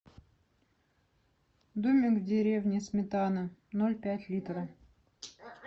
домик в деревне сметана ноль пять литра